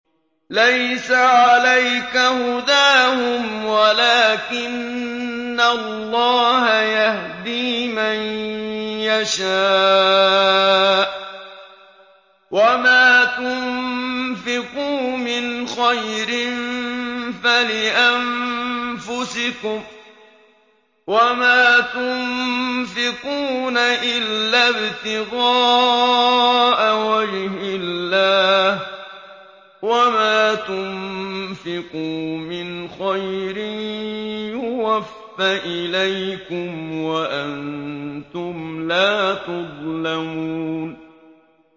۞ لَّيْسَ عَلَيْكَ هُدَاهُمْ وَلَٰكِنَّ اللَّهَ يَهْدِي مَن يَشَاءُ ۗ وَمَا تُنفِقُوا مِنْ خَيْرٍ فَلِأَنفُسِكُمْ ۚ وَمَا تُنفِقُونَ إِلَّا ابْتِغَاءَ وَجْهِ اللَّهِ ۚ وَمَا تُنفِقُوا مِنْ خَيْرٍ يُوَفَّ إِلَيْكُمْ وَأَنتُمْ لَا تُظْلَمُونَ